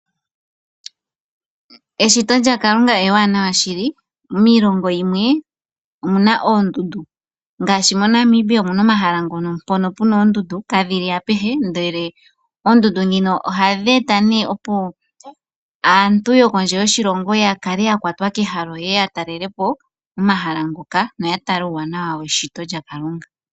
Eshito lyaKalunga ewaanawa shili miilongo yimwe omuna oondundu ngaashi moNamibia omuna omahala ngono mpono puna oondundu, kadhili apehe ndele oondundu dhino ohadhi eta nee opo aantu yokondje yoshilongo ya kale yakwatwa kehalo yeye yatalelepo omahala ngoka noya tale uuwanawa weshito lyaKalunga.